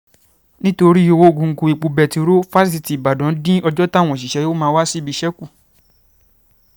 nítorí ọwọ̀ngọ̀gọ̀ epo bẹntiróòlù fásitì ìbàdàn dín ọjọ́ táwọn òṣìṣẹ́ yóò máa wá síbi iṣẹ́ kù